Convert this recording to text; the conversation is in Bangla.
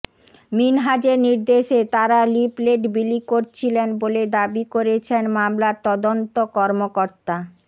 মিনহাজের নির্দেশে তারা লিফলেট বিলি করছিলেন বলে দাবি করেছেন মামলার তদন্ত কর্মকর্তা